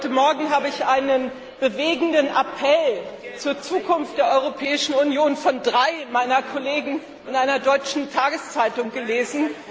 Heute Morgen habe ich einen bewegenden Appell zur Zukunft der Europäischen Union von drei meiner Kollegen in einer deutschen Tageszeitung gelesen.